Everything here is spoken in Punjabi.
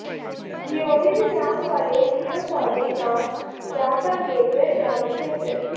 ਜੀਓਡੀ ਦੇ ਨਾਮ ਵਾਲੇ ਥਿਓਫੋਰਿਕ ਨਾਂ ਜਾਂ ਤਾਂ ਅਗੇਤਰ ਜਾਂ ਪਿਛੇਤਰ